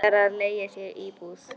Ætlar að leigja sér íbúð.